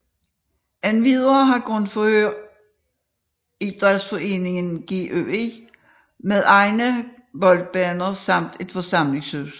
Endvidere har Grundfør idrætsforeningen GUI med egne boldbaner samt et forsamlingshus